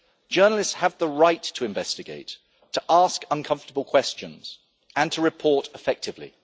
Journalists have the right to investigate, to ask uncomfortable questions and to report effectively.